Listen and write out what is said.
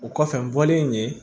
O kɔfɛ n bɔlen yen